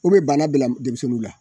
U bɛ banna bila denmisɛnninw la